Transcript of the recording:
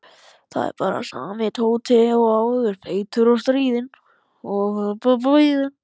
Þetta var bara sami Tóti og áður, feitur og stríðinn.